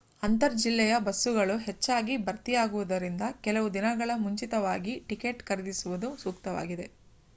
ಅಂತರ್ ಜಿಲ್ಲೆಯ ಬಸ್ಸುಗಳು ಹೆಚ್ಚಾಗಿ ಭರ್ತಿಯಾಗುವುದರಿಂದ ಕೆಲವು ದಿನಗಳ ಮುಂಚಿತವಾಗಿ ಟಿಕೆಟ್ ಖರೀದಿಸುವುದು ಸೂಕ್ತವಾಗಿದೆ